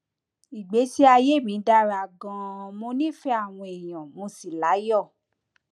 ìgbésí ayé mi dára ganan mo nífẹẹ àwọn èèyàn mo sì láyọ